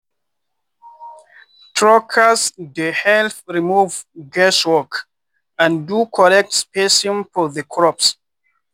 trackers dey help remove guesswork and do correct spacing for the crops.